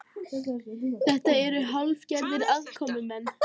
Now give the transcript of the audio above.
Þetta eru hálfgerðir aðkomumenn